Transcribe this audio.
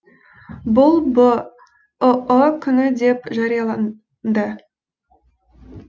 бұл бұұ күні деп жарияланды